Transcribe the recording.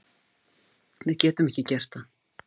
Við getum ekki gert það